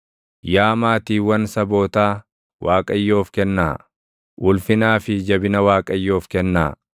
Yaa maatiiwwan sabootaa Waaqayyoof kennaa; ulfinaa fi jabina Waaqayyoof kennaa.